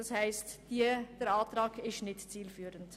Das heisst, der Antrag ist nicht zielführend.